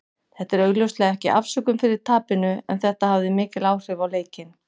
Þetta er augljóslega ekki afsökun fyrir tapinu, en þetta hafði mikil áhrif á leikinn.